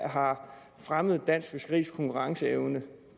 har fremmet dansk fiskeris konkurrenceevne